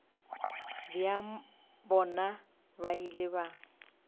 bja bona ba ile ba